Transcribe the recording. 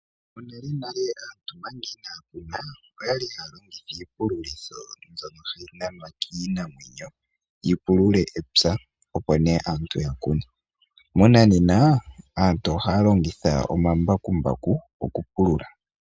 Monalenale aantu omanga inaaya kuna, oya li haya longitha iipululitho, mbyono hayi nanwa kiinamwenyo yi pulule epya, opo nee antu yakune. Monanena aantu ohaya longitha omambakumbaku okupulula.